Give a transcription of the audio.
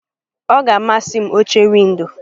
Ọ ga-amasị m oche windo.